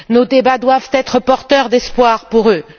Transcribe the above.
Nos débats doivent être porteurs d'espoir pour eux.